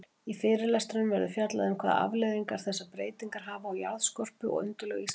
Í fyrirlestrinum verður fjallað um hvaða afleiðingar þessar breytingar hafa á jarðskorpu og undirlög Íslands.